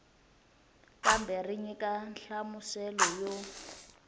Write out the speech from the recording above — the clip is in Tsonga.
kambe ri nyika nhlamuselo yo